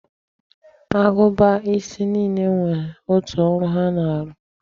Agụba isi niile nwere otu ọrụ ha na-arụ.